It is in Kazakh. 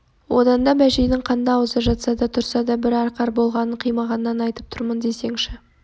одан да бәшейдің қанды аузы жатса да тұрса да бір арқар болғанын қимағаннан айтып тұрмын десеңші